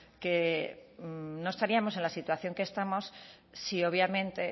que no estaríamos en la situación que estamos si obviamente